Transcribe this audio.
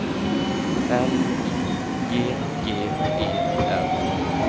L I G G E R